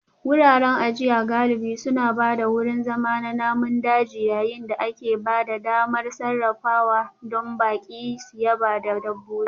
Wuraren ajiya galibi suna ba da wurin zama na namun daji yayin da ke ba da damar sarrafawa don baƙi su yaba da dabbobi